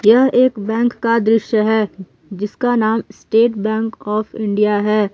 यह एक बैंक का दृश्य है जिसका नाम स्टेट बैंक ऑफ़ इंडिया है।